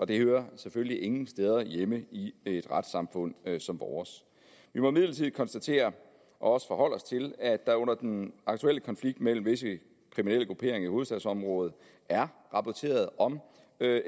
det hører selvfølgelig ingen steder hjemme i et retssamfund som vores vi må imidlertid konstatere og også forholde os til at der under den aktuelle konflikt mellem visse kriminelle grupperinger i hovedstadsområdet er rapporteret om